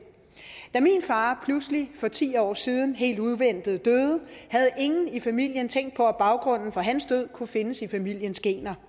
da min far pludselig for ti år siden helt uventet døde havde ingen i familien tænkt på at baggrunden for hans død kunne findes i familiens gener